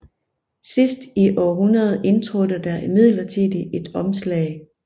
Sidst i århundredet indtrådte der imidlertid et omslag